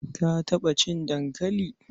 Ka taɓa cin dankali?